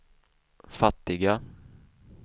fattiga